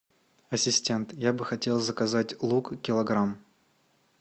ассистент я бы хотел заказать лук килограмм